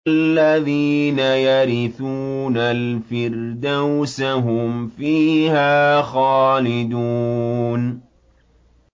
الَّذِينَ يَرِثُونَ الْفِرْدَوْسَ هُمْ فِيهَا خَالِدُونَ